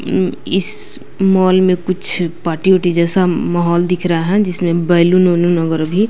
इस मॉल में कुछ पार्टी ओटी जैसा माहौल दिख रहा है जिसमें बैलून उलून वगैरह भी --